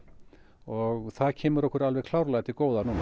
og það kemur okkur klárlega til góða núna